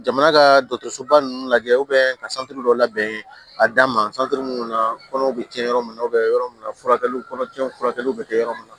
Jamana ka dɔgɔtɔrɔsoba ninnu lajɛ ka dɔ labɛn a d'an ma minnu na kɔnɔw bɛ kɛ yɔrɔ min na yɔrɔ mun na furakɛliw kɔnɔ tiɲɛ furakɛliw bɛ kɛ yɔrɔ min na